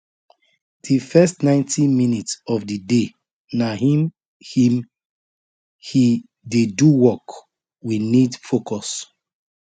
di first ninetyminute of the day na him him he dey do work we need focus